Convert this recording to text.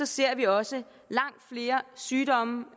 ser vi også langt flere sygdomme